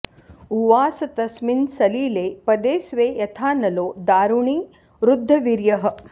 उवास तस्मिन् सलिले पदे स्वे यथानलो दारुणि रुद्धवीर्यः